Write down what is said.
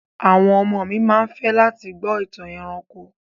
Àwọn ọmọ mi ma fẹ́ láti gbọ́ ìtàn ẹranko.